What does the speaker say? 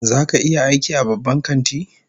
Ko zaka iya aiki a babban kanti?